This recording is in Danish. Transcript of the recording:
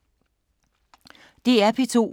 DR P2